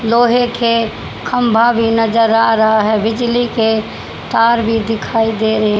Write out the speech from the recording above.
लोहे के खंभा भी नजर आ रहा है। बिजली के तार भी दिखाई दे रहे--